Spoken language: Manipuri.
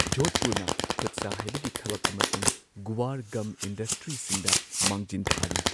ꯖꯣꯙꯄꯨꯔꯅ ꯈꯨꯠꯁꯥ ꯍꯩꯕꯒꯤ ꯊꯕꯛ ꯑꯃꯁꯨꯡ ꯒꯨꯋꯥꯔ ꯒꯝ ꯏꯟꯗꯁꯇ꯭ꯔꯤꯁꯤꯡꯗ ꯃꯥꯡꯖꯤꯟ ꯊꯥꯔꯤ꯫